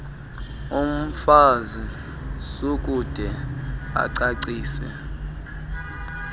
mfazi sukude ucacise